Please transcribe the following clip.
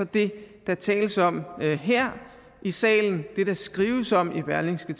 det der tales om her i salen det der skrives om i berlingske